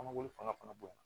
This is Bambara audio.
An mago bɛ fanga fana bonya